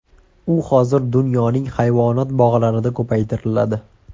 U hozir dunyoning hayvonot bog‘larida ko‘paytiriladi.